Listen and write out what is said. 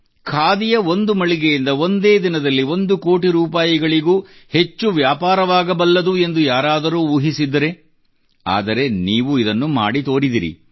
ಖಾದಿಯ ಒಂದು ಮಳಿಗೆಯಿಂದ ಒಂದೇ ದಿನದಲ್ಲಿ ಒಂದು ಕೋಟಿ ರೂಪಾಯಿಗಳಿಗೂ ಹೆಚ್ಚು ವ್ಯಾಪಾರವಾಗಬಲ್ಲದು ಎಂದು ಯಾರಾದರೂ ಊಹಿಸಿದ್ದರೆ ಆದರೆ ನೀವು ಇದನ್ನು ಮಾಡಿ ತೋರಿದಿರಿ